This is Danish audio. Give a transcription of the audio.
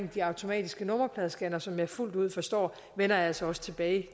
de automatiske nummerpladescannere som jeg fuldt ud forstår vender jeg altså også tilbage